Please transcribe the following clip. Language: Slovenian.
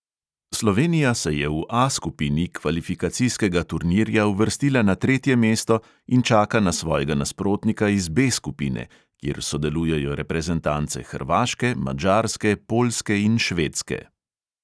Slovenija se je v A skupini kvalifikacijskega turnirja uvrstila na tretje mesto in čaka na svojega nasprotnika iz B skupine, kjer sodelujejo reprezentance hrvaške, madžarske, poljske in švedske.